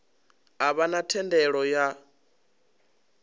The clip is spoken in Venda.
a vha na thendelo ya